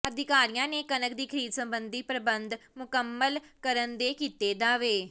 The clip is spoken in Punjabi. ਅਧਿਕਾਰੀਆਂ ਨੇ ਕਣਕ ਦੀ ਖ਼ਰੀਦ ਸਬੰਧੀ ਪ੍ਰਬੰਧ ਮੁਕੰਮਲ ਕਰਨ ਦੇ ਕੀਤੇ ਦਾਅਵੇ